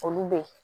Olu be ye